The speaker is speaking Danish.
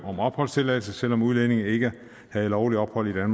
om opholdstilladelse selv om udlændingen ikke har lovligt ophold i